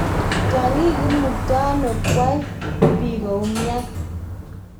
Tyang'ik imuktano kwai bii koumnyan.